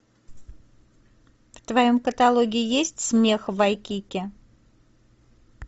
в твоем каталоге есть смех в вайкики